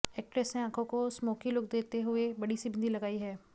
actress ने आंखों को स्मोकी लुक देते हुए बड़ी सी बिंदी लगाई है